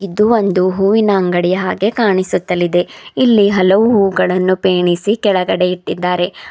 ಇದು ಒಂದು ಹೂವಿನ ಅಂಗಡಿಯ ಹಾಗೆ ಕಾಣಿಸುತ್ತಲಿದೆ ಇಲ್ಲಿ ಹಲವು ಹೂಗಳನ್ನು ಪೆಣಿಸಿ ಕೆಳಗಡೆ ಇಟ್ಟಿದ್ದಾರೆ.